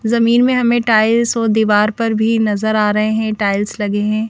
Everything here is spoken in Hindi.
जमीन में हमें टाइल्स और दीवार पर भी नजर आ रहे हैंटाइल्स लगे हैं ।